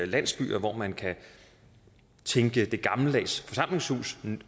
landsbyer hvor man kan tænke det gammeldags forsamlingshus nyt